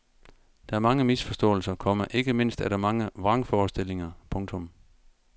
Der er mange misforståelser, komma ikke mindst er der mange vrangforestillinger. punktum